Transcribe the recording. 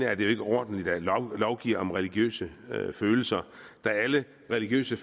er jo ikke ordentligt at lovgive om religiøse følelser da alle religiøse